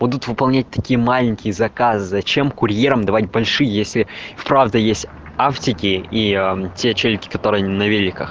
будут выполнять такие маленькие заказы зачем курьерам давать больше если правда есть автики и те челики которые на великах